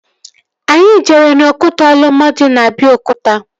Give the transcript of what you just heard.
Anyị jere n'okwute Olumo dị na Abiokuta